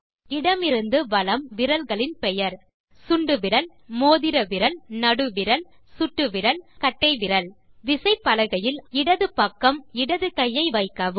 இடமிருந்து வலம் விரல்களின் பெயர்160 சுண்டுவிரல் மோதிர விரல் நடுவிரல் சுட்டு விரல் மற்றும் கட்டை விரல் விசைப்பலகையில் அதன் இடது பக்கம் உங்கள் இடது கையை வைக்கவும்